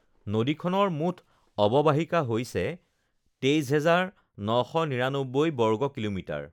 নদীখনৰ মুঠ অৱবাহিকা হৈছে ২৩,৯৯৯ বৰ্গ কিমি৷